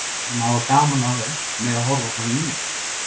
Þeir sem hafa gaman af þeim mega horfa á þá mín vegna.